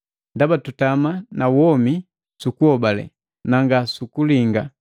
Ndaba tutama na womi sukuhobale, nanga sukulinga.